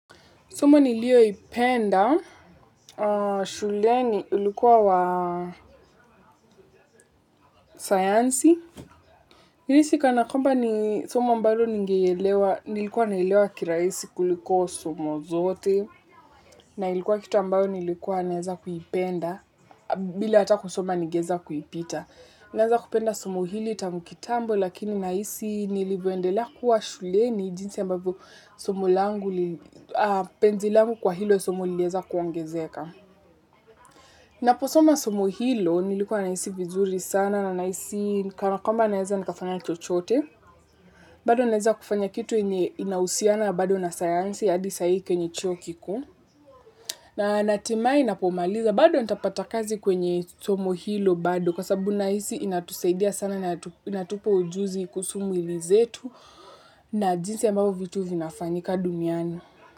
Somo nilio ipenda. Shuleni ulikuwa wa sayansi. Naisi kana kwamba ni somo ambalo nigelewa, nilikuwa nailewa kiraisi kuliko somo zote. Na ilikua kitu ambayo nikikua naeza kuipenda bila hata kusoma ningeweza kuipita. Naeza kupenda somo hili tangu kitambo lakini naisi nilivyoendelea kuwa shuleni jinsi mbavyoo somo langu, penzi langu kwa hilo somo liliweza kuongezeka. Naposoma somo hilo nilikuwa naisi vizuri sana na naisi kana kwamba naeza nikafanya chochote. Bado naeza kufanya kitu enye inausiana bado na sayansi hadi saa hii kwenye chuo kikuu na natumai napomaliza bado ntapata kazi kwenye somo hilo bado kwa sababu naisi inatusaidia sana na inatupa ujuzi kuhusu miili zetu na jinsi ya mbavyo vitu vinafanyika duniani.